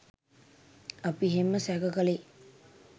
අපි එහෙම සැක කළේ